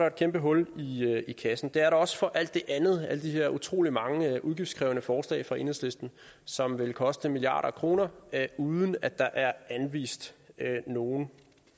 et kæmpe hul i kassen det er der også for alt det andet alle de her utrolig mange udgiftskrævende forslag fra enhedslisten som vil koste milliarder af kroner uden at der er anvist nogen